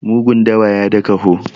mugun dawa ya da kaho